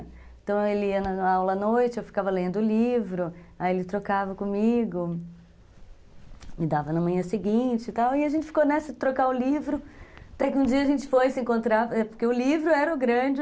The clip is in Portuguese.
Então ele ia na aula à noite, eu ficava lendo o livro, aí ele trocava comigo, me dava na manhã seguinte e tal, e a gente ficou nessa de trocar o livro, até que um dia a gente foi se encontrar, porque o livro era o grande...